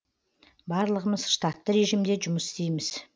барлығымыз штатты режимде жұмыс істейміз